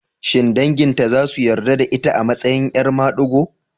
Shin danginta za su yarda da ita a matsayin 'yar madigo?